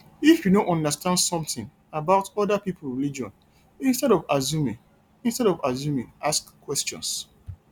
if you no understand something about oda pipo religion instead of assuming instead of assuming ask questions